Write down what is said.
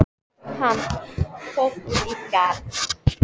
Varir hennar sukku ekki eins djúpt og hans.